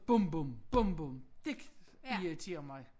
Bom bom bom bom dét irriterer mig